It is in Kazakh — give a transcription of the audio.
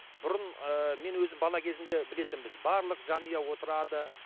бұрын ыыы мен өзім бала кезімде білетінбіз барлық жанұя отырады